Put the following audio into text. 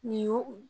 Nin y'o